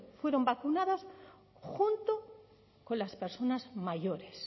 fueron vacunados junto con las personas mayores